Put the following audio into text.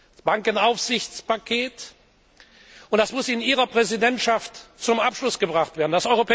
Das Bankenaufsichtspaket Das muss in Ihrer Präsidentschaft zum Abschluss gebracht werden.